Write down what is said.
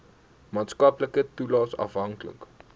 maatskaplike toelaes afhanklik